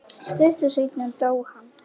Stuttu seinna dó hann.